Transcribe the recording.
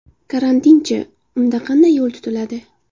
Karantinchi, unda qanday yo‘l tutiladi?